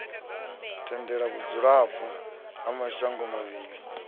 tendele vhudzulapo ha mashango mavhili